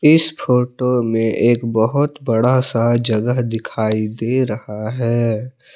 इस फोटो में एक बहोत बड़ा सा जगह दिखाई दे रहा है।